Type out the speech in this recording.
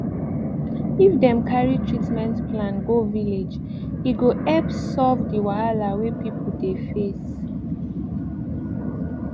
if dem cari treatment plan go village e go epp solve d wahala wey pipu dey face